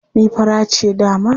Ni fara ce dama.